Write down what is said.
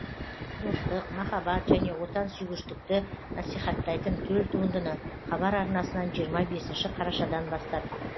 достық махаббат және отансүйгіштікті насихаттайтын төл туындыны хабар арнасынан жиырма бесінші қарашадан бастап